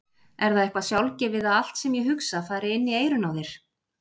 Er það eitthvað sjálfgefið að allt sem ég hugsa fari inn í eyrun á þér!